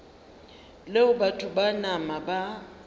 leo batho ba nama ba